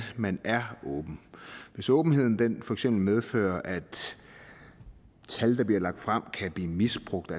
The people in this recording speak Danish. man er åben hvis åbenheden for eksempel medfører at tal der bliver lagt frem kan blive misbrugt